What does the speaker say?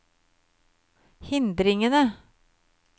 hindringene